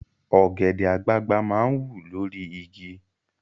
Ọ̀gẹ̀dẹ̀ àgbagbà máa ń wù lórí igi